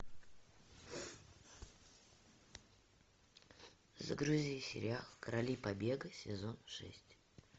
загрузи сериал короли побега сезон шесть